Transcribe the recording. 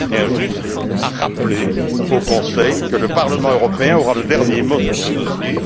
Je tiens juste à rappeler au Conseil que le Parlement européen aura le dernier mot sur ce dossier.